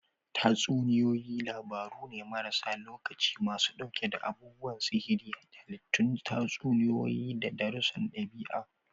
Tatsuniyoyi labaru ne maras lokaci masu ɗauke da abubuwan sihiri, halittun tatsuniyoyi, da darussan ɗabi'a.